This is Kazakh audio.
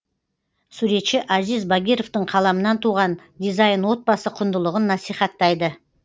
суретші азиз багировтың қаламынан туған дизайн отбасы құндылығын насихаттайды